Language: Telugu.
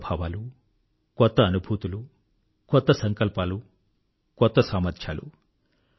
కొత్త భావాలు కొత్త అనుభూతులు కొత్త సంకల్పాలు కొత్త సామర్థ్యాలు